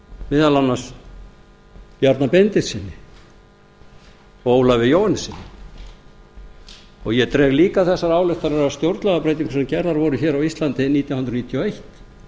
meðal annars bjarna benediktssyni og ólafi jóhannessyni ég dreg líka þessar ályktanir af stjórnlagabreytingu sem gerð var á íslandi nítján hundruð níutíu og eitt